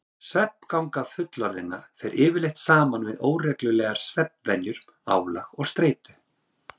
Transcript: Svefnganga fullorðinna fer yfirleitt saman við óreglulegar svefnvenjur, álag og streitu.